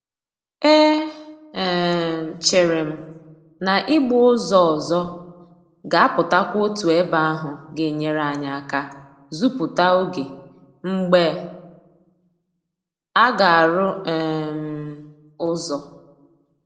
E um chere m na ị gba ụzọ ọzọ ga-apụtakwa otu ebe ahụ ga-enyere anyị aka zuputa oge mgbe aga-arụ um ụzọ